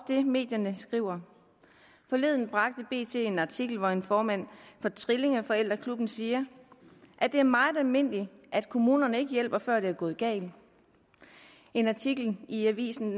det medierne skriver forleden bragte bt en artikel hvori formanden for trillingeforældreklubben siger at det er meget almindeligt at kommunerne ikke hjælper før det er gået galt i en artikel i avisendk